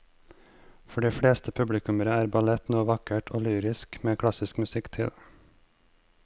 For de fleste publikummere er ballett noe vakkert og lyrisk med klassisk musikk til.